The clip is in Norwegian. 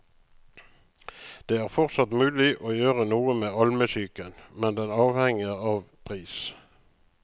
Det er fortsatt mulig å gjøre noe med almesyken, men det avhenger av pris.